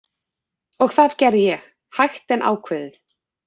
Og það gerði ég, hægt en ákveðið.